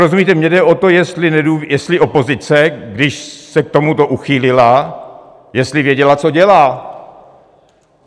Rozumíte, mně jde o to, jestli opozice, když se k tomuto uchýlila, jestli věděla, co dělá.